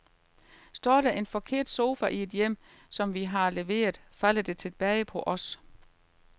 Står der er en forkert sofa i et hjem, som vi har leveret, falder det tilbage på os.